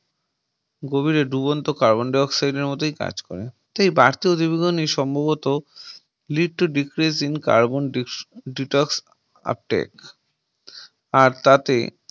গভীরে ডুবন্ত Carbon Dioxide এর মতই কাজ করে সেই বিবরণী সম্ভবত Lead to decrease in carbon detox আর তাতে